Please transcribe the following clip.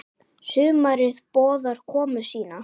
Sumarið boðar komu sína.